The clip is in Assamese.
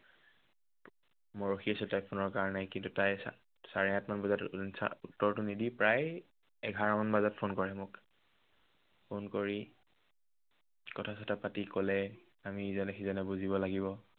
মই ৰখি আছো তাইৰ phone ৰ কাৰনে। কিন্তু তাই চাৰে আঠমান বজাত উত্তৰটো নিদি প্ৰায় এঘাৰমান বজাত phone কৰিছে মোক। phone কৰি কথা চথা পাতি কলে আমি ইজনে সিজনে বুজিব লাগিব।